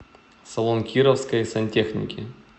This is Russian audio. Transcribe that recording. салон кировской сантехники